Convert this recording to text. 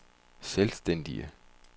selvstændig